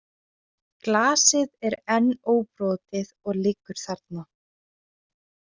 Glasið er enn óbrotið og liggur þarna.